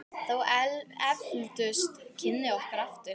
Þá efldust kynni okkar aftur.